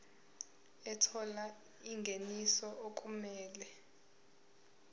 ethola ingeniso okumele